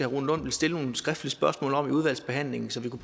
rune lund vil stille nogle skriftlige spørgsmål om det i udvalgsbehandlingen så vi